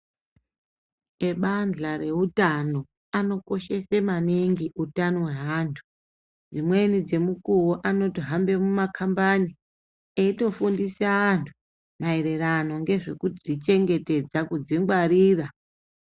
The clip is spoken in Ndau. Ebanhla rehutano vanokoshesa maningi hutano hwemuntu dzimweni dzemukuwo anohamba mumakambani Eitofundisa antu maererano ekuzvichengetedza kuzvingwarira.